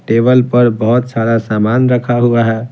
Table पर बहुत सारा सामान रखा हुआ है।